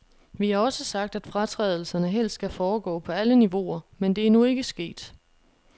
Vi har også sagt, at fratrædelserne helst skal foregå på alle niveauer, men det er nu ikke sket.